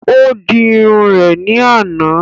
Ó di Irun rè ní àná